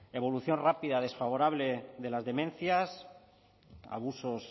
evolución rápida desfavorable de las demencias abusos